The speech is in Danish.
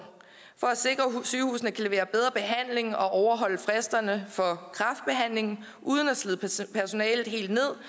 for at sikre at sygehusene kan levere bedre behandling og overholde fristerne for kræftbehandling uden at slide personalet helt ned